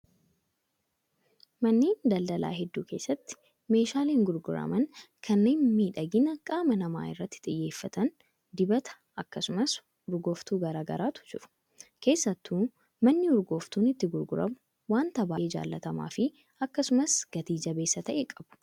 Manneen daldalaa hedduu keessatti meeshaaleen gurguraman kanneen miidhagina qaama namaa irratti xiyyeeffatan dibata akkasumas urgooftuu garaagaraatu jiru. Keessattuu manni urgooftuun itti gurguramu wanta baay'ee jaallatamaa fi akkasumas gati jabeessa ta'e qabu.